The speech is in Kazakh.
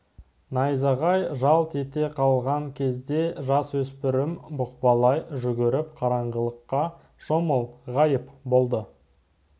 найзағай жалт ете қалған кезде жасөспірім бұқпалай жүгіріп қараңғылыққа шомып ғайып болды